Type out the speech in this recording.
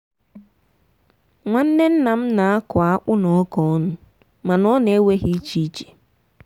nwanne nna m na-akụ akpu na ọka ọnụ mana ọ na-ewe ha iche iche.